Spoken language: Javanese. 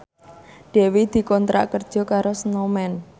Dewi dikontrak kerja karo Snowman